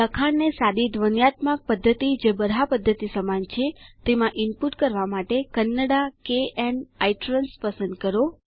લખાણને સાદી ધ્વન્યાત્મક પદ્ધતિ જે બરહા પદ્ધતિ સમાન છે તેમાં ઇનપુટ કરવા માટે કન્નડા kn ઇટ્રાન્સ પસંદ કરો